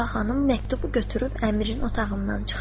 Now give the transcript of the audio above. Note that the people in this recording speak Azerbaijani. Sabah xanım məktubu götürüb əmrin otağından çıxdı.